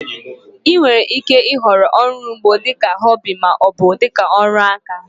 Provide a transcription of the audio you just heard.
Ị nwèrè ike ị họrọ ọrụ ugbo dika họbị maọbụ dịka ọrụ aka